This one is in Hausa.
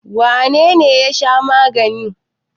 Wane ne ya sha magani?